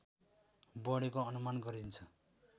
बढेको अनुमान गरिन्छ